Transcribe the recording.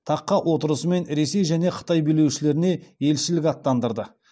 таққа отырысымен ресей және қытай билеушілеріне елшілік аттандырды